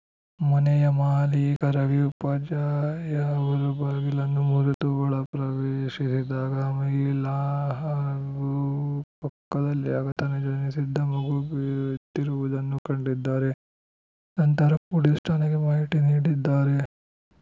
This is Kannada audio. ಮನೆಯ ಮಾಲೀಕ ರವಿ ಉಪಾಧ್ಯಾಯ ಅವರು ಬಾಗಿಲನ್ನು ಮುರಿದು ಒಳ ಪ್ರವೇಶಿಸಿದಾಗ ಆ ಮಹಿಳಾ ಹಾಗೂ ಪಕ್ಕದಲ್ಲಿ ಆಗತಾನೆ ಜನಿಸಿದ್ದ ಮಗು ಬಿದ್ದಿರುವುದನ್ನು ಕಂಡಿದ್ದಾರೆ ನಂತರ ಪೊಲೀಸ್ ಠಾಣೆಗೆ ಮಾಹಿತಿ ನೀಡಿದ್ದಾರೆ